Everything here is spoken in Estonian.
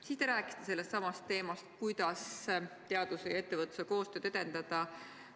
Siis te rääkisite sellestsamast teemast, kuidas teaduse ja ettevõtluse koostööd edendada.